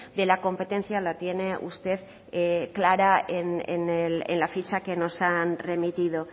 de la competencia la tiene usted clara en la ficha que nos han remitido